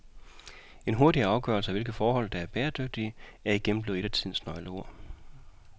En hurtigere afgørelse af hvilke forhold, der er bæredygtige, er igen blevet et af tidens nøgleord.